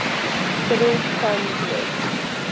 federal funds rate